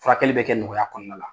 Furakɛli bɛ kɛ nɔgɔya kɔnɔna la.